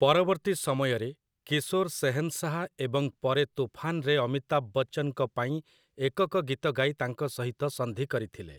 ପରବର୍ତ୍ତୀ ସମୟରେ, କିଶୋର୍ 'ଶେହେନ୍‌ଶାହ' ଏବଂ ପରେ 'ତୁଫାନ୍'ରେ ଅମିତାଭ୍ ବଚ୍ଚନ୍‌ଙ୍କ ପାଇଁ ଏକକ ଗୀତ ଗାଇ ତାଙ୍କ ସହିତ ସନ୍ଧି କରିଥିଲେ ।